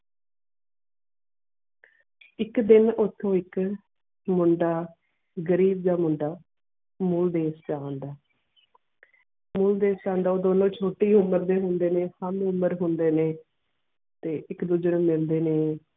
ਇਕ ਦਿਨ ਉਠੁ ਇਕ ਮੁੰਡਾ ਗਰੀਬ ਜੀਅ ਮੁੰਡਾ ਮੋਲ ਦੇਸ਼ ਛ ਆਉਂਦਾ ਮੋਲ ਦੇਸ਼ ਦਾ ਉਹ ਦੋਨਉ ਛੋਟੀ ਉਮਰ ਦੇ ਹੋਂਦੇ ਨੇ ਕਾਮ ਉਮਰ ਹੋਂਦੇ ਨੇ ਤੇ ਇਕ ਦੂਜੇ ਨੂੰ ਮਿਲਦੇ ਨੇ.